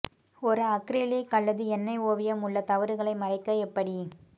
ஒரு அக்ரிலிக் அல்லது எண்ணெய் ஓவியம் உள்ள தவறுகளை மறைக்க எப்படி